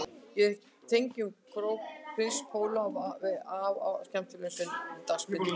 Ég tengi enn kók og prins póló við afa og skemmtilegu sunnudagsbíltúrana